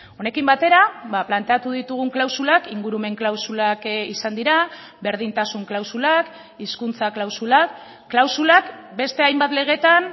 honekin batera planteatu ditugun klausulak ingurumen klausulak izan dira berdintasun klausulak hizkuntza klausulak klausulak beste hainbat legetan